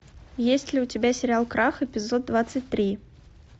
есть ли у тебя сериал крах эпизод двадцать три